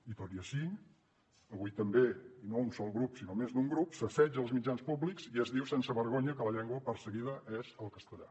i tot i així avui també i no un sol grup sinó més d’un grup s’assetja els mitjans públics i es diu sense vergonya que la llengua perseguida és el castellà